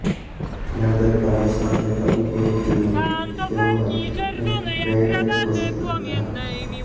જ્યાં ગઈકાલે સાંજે તબીબોની ટીમે તેમને બ્રેઈનડેડ ઘોષિત કર્યા હતા